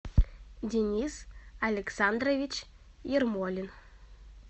денис александрович ермолин